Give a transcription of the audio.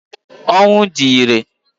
Ọnwụ di ire.